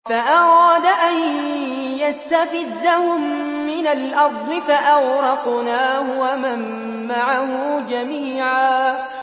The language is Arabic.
فَأَرَادَ أَن يَسْتَفِزَّهُم مِّنَ الْأَرْضِ فَأَغْرَقْنَاهُ وَمَن مَّعَهُ جَمِيعًا